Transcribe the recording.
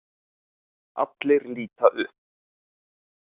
Allir líta upp.